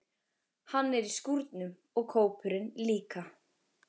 Hann er í skúrnum og kópurinn líka.